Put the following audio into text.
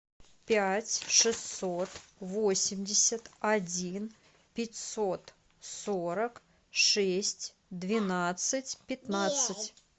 пять шестьсот восемьдесят один пятьсот сорок шесть двенадцать пятнадцать